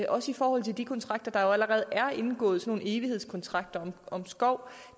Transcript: også i forhold til de kontrakter der allerede er indgået sådan nogle evighedskontrakter om skov